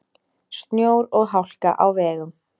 Snjór og hálka á vegum